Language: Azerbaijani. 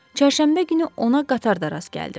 Çərşənbə günü ona qatarda rast gəldim.